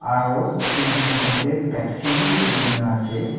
aru fridge bithor teh pepsi be dikhi ke na ase.